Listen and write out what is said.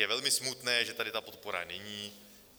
Je velmi smutné, že tady ta podpora není.